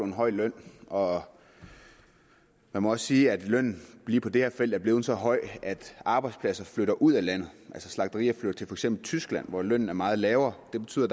en høj løn og man må også sige at lønnen lige på det her felt er blevet så høj at arbejdspladser flytter ud af landet slagterier flytter for eksempel til tyskland hvor lønnen er meget lavere det betyder